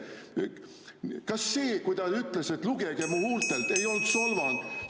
" Kas see, kui ta ütles, et lugege mu huultelt, ei olnud solvang?